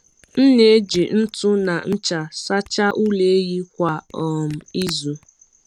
M na-eji ntu na ncha sachaa ụlọ ehi kwa um izu.